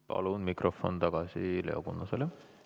Palun mikrofon tagasi Leo Kunnasele!